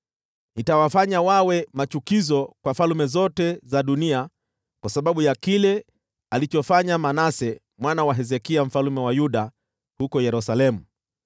Nitawafanya wawe machukizo kwa falme zote za dunia kwa sababu ya kile alichofanya Manase mwana wa Hezekia mfalme wa Yuda huko Yerusalemu.